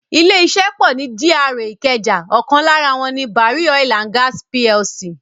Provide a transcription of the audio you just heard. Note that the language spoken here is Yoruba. Ilé iṣẹ́ pọ ni GRA ìkẹjà, ọkan lára wọ́n ni Barry Oil and Gas Plc.